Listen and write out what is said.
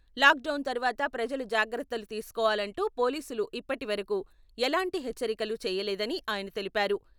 Lock down తర్వాత ప్రజలు జాగ్రత్తలు తీసుకోవాలంటూ పోలీసులు ఇప్పటి వరకూ ఎలాంటి హెచ్చరికలు చేయలేదని ఆయన తెలిపారు.